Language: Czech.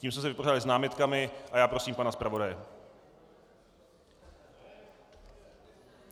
Tím jsme se vypořádali s námitkami, a já prosím pana zpravodaje.